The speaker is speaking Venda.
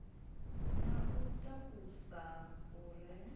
na u takusa u re